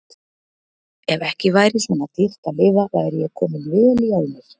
Ef ekki væri svona dýrt að lifa væri ég kominn vel í álnir.